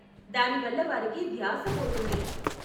దాని వల్ల వారికి ధ్యాస పోతుంది.